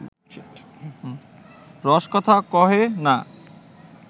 রসকথা কহে না